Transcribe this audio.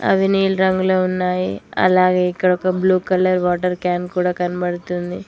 అలాగే ఇక్కడ ఒక బ్లూ కలర్ వాటర్ క్యాన్ కూడా కనబడుతుంది